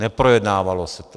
Neprojednávalo se to.